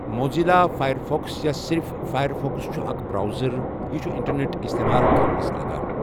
Mozilla Firefox یا صِرِف Firefox چھُ اَکھ براؤزَر یہِ چھُ اِنٹَرنؠٹ اِستِعمال کَرنَس لَگن۔